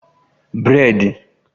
Breidi